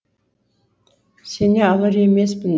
сене алар емеспін